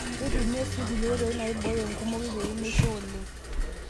Keitumiyai sii kulie oitoi naaiboyo enkumoki pee meisho oleng.